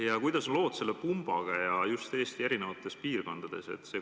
Ja kuidas on lood pumbaga just Eesti erinevates piirkondades?